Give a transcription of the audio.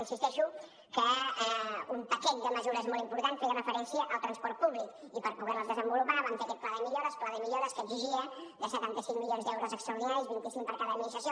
i insisteixo que un paquet de mesures molt important feia referència al transport públic i per poder les desenvolupar vam fer aquest pla de millores pla de millores que exigia setanta cinc milions d’euros extraordinaris vint cinc per cada administració